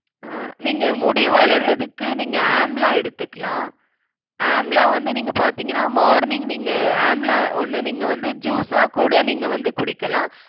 அஹ் நீங்க முடி வளர்றதுக்கு நீங்க amla எடுத்துக்கலாம். amla வந்து நீங்க பாத்தீங்கன்னா morning நீங்க amla ஒண்ணு நீங்க வந்து juice ஆ கூட நீங்க வந்து குடிக்கலாம்.